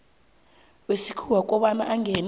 wesikhuwa kobana angene